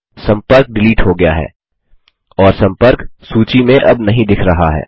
सम्पर्क डिलीट हो गया है और सम्पर्क सूची में अब नहीं दिख रहा है